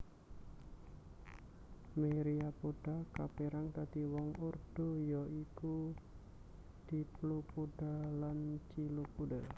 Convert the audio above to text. Myriapoda kapérang dadi rong ordo ya iku Diplopoda lan Chilopoda